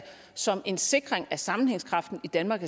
som en sikring af sammenhængskraften i danmark